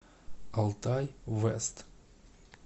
алтай вэст